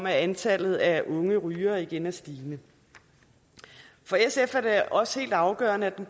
at antallet af unge rygere igen er stigende for sf er det også helt afgørende at